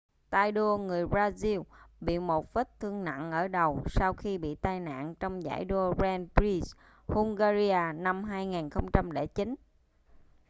tay đua người brazil bị một vết thương nặng ở đầu sau khi bị tai nạn trong giải đua grand prix hungaria năm 2009